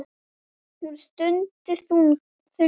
Hún stundi þungan.